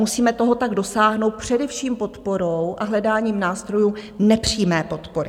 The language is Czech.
Musíme toho tak dosáhnout především podporou a hledáním nástrojů nepřímé podpory.